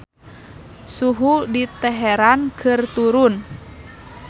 Suhu di Teheran keur turun